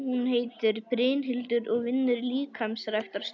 Hún heitir Brynhildur og vinnur í líkamsræktarstöð.